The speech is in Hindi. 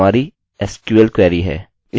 और यह ठीक 1 पैरामीटर लेता है जो कि हमारी sql क्वेरी है